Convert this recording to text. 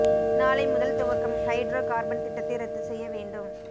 நாளை முதல் துவக்கம் ஹைட்ரோ கார்பன் திட்டத்தை ரத்து செய்ய வேண்டும்